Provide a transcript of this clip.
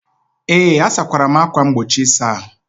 Ee, asakwara m ákwà mgbochi ịsa ahụ.